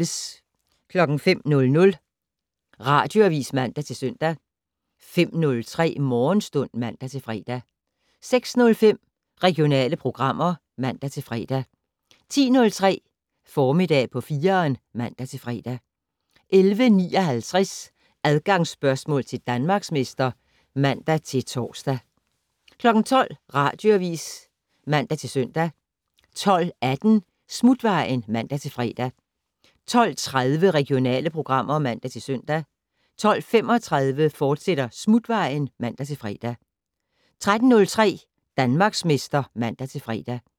05:00: Radioavis (man-søn) 05:03: Morgenstund (man-fre) 06:05: Regionale programmer (man-fre) 10:03: Formiddag på 4'eren (man-fre) 11:59: Adgangsspørgsmål til Danmarksmester (man-tor) 12:00: Radioavis (man-søn) 12:18: Smutvejen (man-fre) 12:30: Regionale programmer (man-søn) 12:35: Smutvejen, fortsat (man-fre) 13:03: Danmarksmester (man-fre)